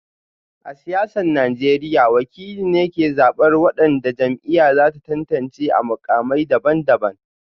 A siyasar Najeriya, wakili ne ke zabar wadanda jam'iyyar za ta tantance a mukamai daban-daban